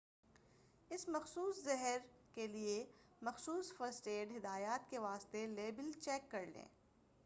اس مخصوص زہر کیلئے مخصوص فرسٹ ایڈ ہدایات کے واسطے لیبل چیک کریں